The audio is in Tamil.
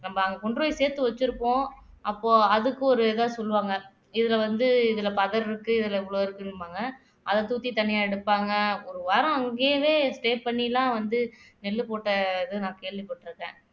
நம்ம அங்க கொண்டு போய் சேர்த்து வெச்சிருப்போம் அப்போ அதுக்கு ஒரு ஏதாவது சொல்லுவாங்க இதுல வந்து இதுல பதர் இருக்கு இதுல இவ்வளவு இருக்கும்பாங்க அத தூக்கி தனியா எடுப்பாங்க ஒரு வாரம் அங்கேயே stay பண்ணிலாம் வந்து நெல்லு போட்ட இது நான் கேள்விப்பட்டிருக்கேன்